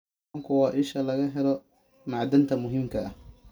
Kalluunku waa isha laga helo macdanta muhiimka ah.